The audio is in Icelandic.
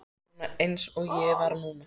Svona eins og ég var núna.